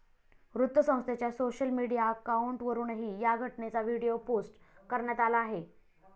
वृत्तसंस्थेच्या social media अकाऊंटवरुनही या घटनेचा व्हिडीओ पोस्ट करण्यात आला आहे.